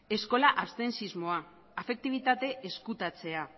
eskola absentismoa afektibitate ezkutatzea